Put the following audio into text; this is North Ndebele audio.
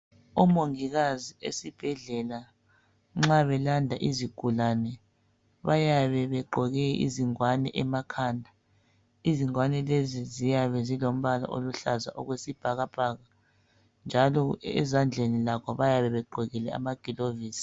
Omongikazi esibhedlela nxa belanda isigulane bayabe begqoke izigwane emakhanda izingwane lezi ziyabe zilombala oluhlazana okwesibhakabhaka njalo ezandleni lakho bayabe begqokile amagloves